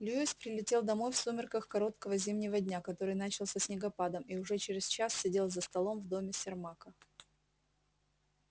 льюис прилетел домой в сумерках короткого зимнего дня который начался снегопадом и уже через час сидел за столом в доме сермака